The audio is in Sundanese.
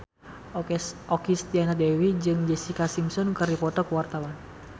Okky Setiana Dewi jeung Jessica Simpson keur dipoto ku wartawan